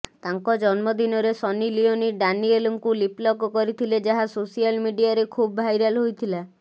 ତାଙ୍କ ଜନ୍ମଦିନରେ ସନି ଲିଓନି ଡାନିଏଲଙ୍କୁ ଲିପଲକ୍ କରିଥିଲେ ଯାହା ସୋଶିଆଲ ମିଡିଆରେ ଖୁବ୍ ଭାଇରାଲ ହୋଇଥିଲା